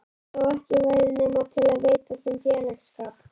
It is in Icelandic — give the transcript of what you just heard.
Þó ekki væri nema til að veita þeim félagsskap.